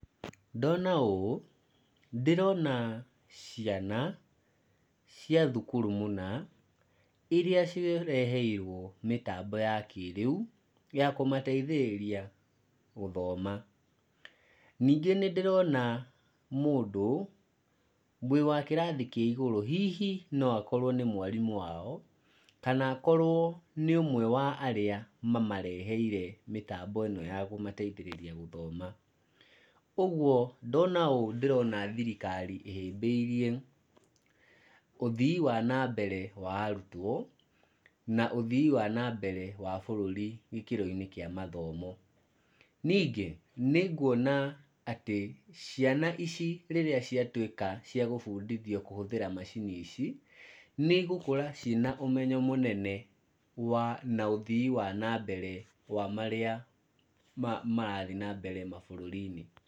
Ndona ũũ, ndĩrona ciana cia thukuru mũna iria cireheirwo mĩtambo ya kĩrĩu ya kũmateithĩrĩria gũthoma, ningĩ nĩndĩrona mũndũ wa kĩrathi kĩa igũrũ, hihi noakorwo nĩ mwarimũ wao kana akorwo nĩ ũmwe wa arĩa mamareheire mĩtambo ĩno ya kũmateithĩrĩria gũthoma, ũguo ndona ũ ndĩrona thirikari ĩhĩmbĩirie ũthii wa nambere wa arutwo na ũthii wa na mbere wa bũrũri gĩkĩro-inĩ kĩa mathomo, nĩngĩ nĩnguona atĩ ciana ici rĩrĩa ciatuĩka cia kũbundithio kũhũthĩra macini ici, nĩngũkora ciĩna ũmenyo mũnene wa na ũthii wa nambere wa marĩa marathiĩ na mbere mabũrũri-inĩ.